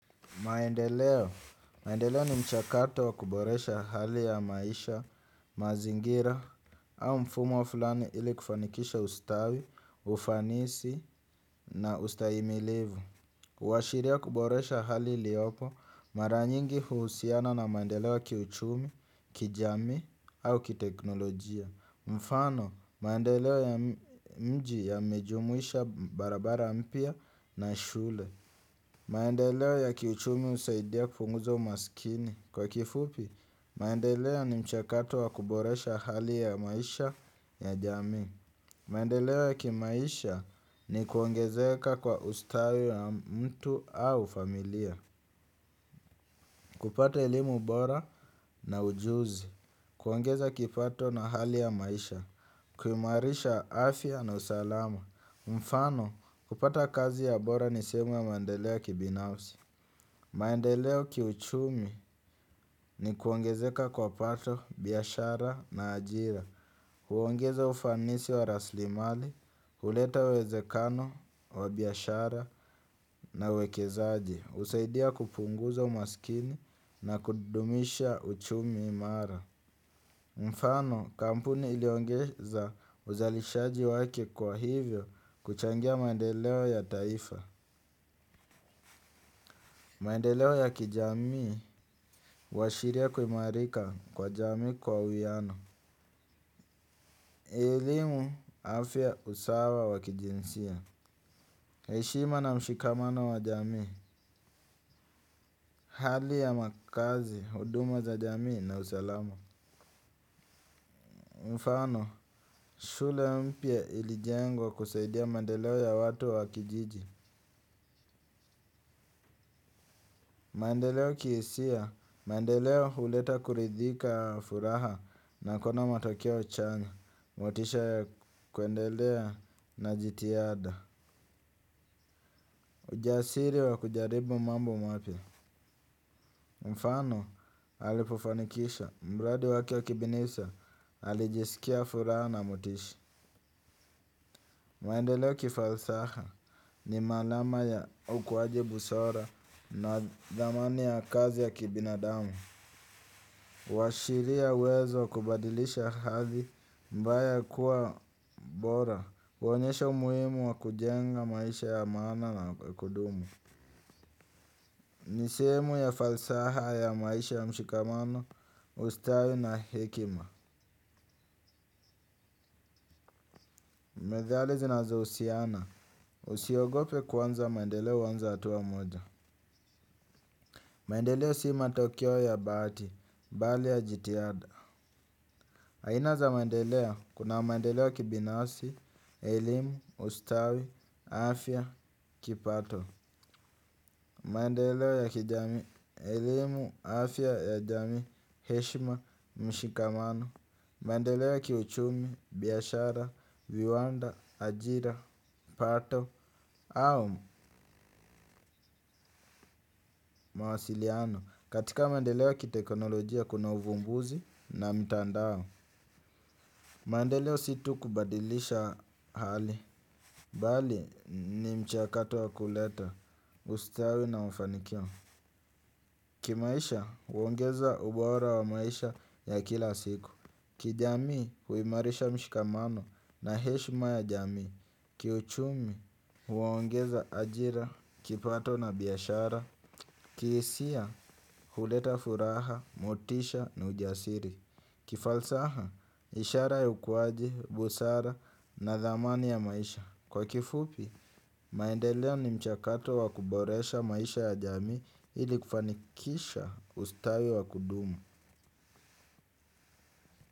Maendelewa ni mchakato wa kuboresha hali ya maisha mazingira au mfumo fulani ili kufanikisha ustawi, ufanisi na ustayimilivu. Uwashiria kuboresha hali iliopo mara nyingi huusiana na maendelewa ki uchumi, ki jamii au ki teknolojia. Mfano, maendelewa ya mji ya mejumuisha barabara mpya na shule. Maendeleo ya kiuchumi usaidia kufunguzo umasikini. Kwa kifupi, maendeleo ni mchakato wa kuboresha hali ya maisha ya jamii. Maendeleo ya kimaisha ni kuongezeka kwa ustawi wa mtu au familia. Kupata elimu bora na ujuzi kuongeza kipato na hali ya maisha kuimarisha afya na usalama mfano, kupata kazi ya bora ni seemu ya maendeleo ya kibinafsi. Maendeleo kiuchumi ni kuongezeka kwa pato, biashara na ajira huongeza ufanisi wa raslimali, huleta wezekano wa biashara na uwekezaji usaidia kupunguza umaskini na kudumisha uchumi imara. Mfano kampuni iliongeza uzalishaji wake kwa hivyo kuchangia maendeleo ya taifa. Maendeleo ya kijamii, washiria kumarika kwa jamii kwa uyano. Elimu, afya usawa wakijinsia. Heshima na mshikamano wa jamii, hali ya makazi, huduma za jamii na usalamo. Mfano, shule mpya ilijengwa kusaidia maendeleo ya watu wakijiji. Maendeleo kiesia, maendeleo huleta kuridhika furaha na kona matokeo chanya. Motisha ya kwendelea na jitiada ujasiri wa kujaribu mambo mapya mfano alipufanikisha mradi wake wa kibinifsa alijisikia fura na motisha. Mwendeleo kifalsaha ni malama ya ukwaji busara na dhamani ya kazi ya kibinadamu. Washiria uwezo wa kubadilisha hathi mbaya kuwa bora kuonyesha umuimu wa kujenga maisha ya maana na ya kudumu. Niseemu ya falsaha ya maisha ya mshikamano, ustawi na hekima. Methali zinazo usiana usiogope kwanza maendeleo anza hatuwa moja. Maendeleo simatokyo ya Baati, Bali ya Jitiada Haina za maendeleo kuna maendeleo ya kibinasi, elimu, ustawi, afya, kipato. Maendeleo ya kijamii, elimu, afya ya jamii, heshima, mshikamano. Maendeleo ya kiuchumi, biashara, viwanda, ajira, pato au mawasiliano katika maendeleo ya kitekonolojia kuna uvumbuzi na mtandao. Maendeleo si tu kubadilisha hali bali ni mchiakato wa kuleta, ustawi na ufanikio kimaisha huongeza ubora wa maisha ya kila siku kijamii huimarisha mshikamano na heshma ya jamii kiuchumi huongeza ajira, kipato na biashara kiisia huleta furaha, motisha ni ujasiri kifalsaha, ishara ya ukuwaji, busara na dhamani ya maisha kwa kifupi, maendelea ni mchakato wa kuboresha maisha ya jamii ili kufanikisha ustawi wa kudumu.